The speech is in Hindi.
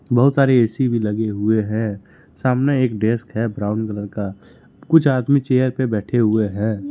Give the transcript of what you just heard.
बहुत सारी ए_सी भी लगे हुई हैं सामने एक डेस्क है ब्राउन कलर का कुछ आदमी चेयर पे बैठे हुए है।